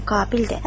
qabildir.